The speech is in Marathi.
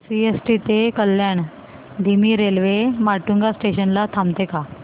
सीएसटी ते कल्याण धीमी रेल्वे माटुंगा स्टेशन ला थांबते का